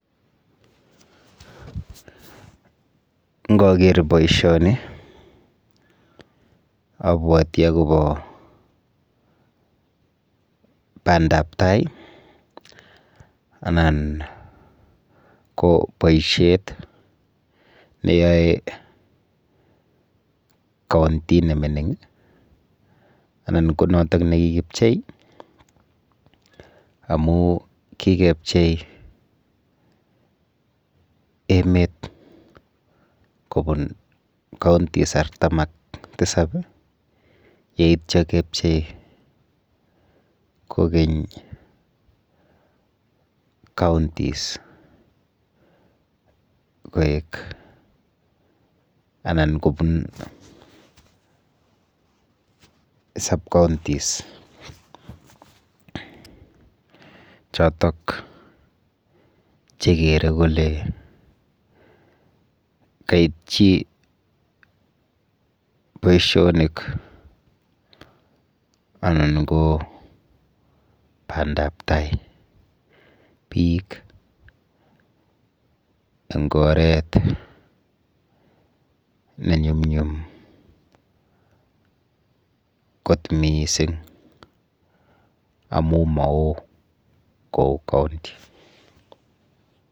Nkaker boishoni abwoti akopo bandaptai anan ko poishet neyoe county nemining anan ko notok nekikipchei amu kikepchei emet kopun counties artam ak tisap yeityo kepchei kokeny counties koek anan kobun sub-counties chotok chekere kole kaitchi boishonik anan ko bandaptai biik eng oret nenyumnyum kot mising amu mao kou county.